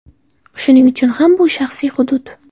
Shuning uchun ham bu shaxsiy hudud.